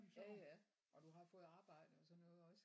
Ja ja og du har fået arbejde og sådan noget også?